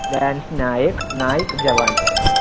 lance naik, naik javans.